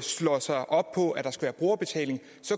slår sig op på at der skal være brugerbetaling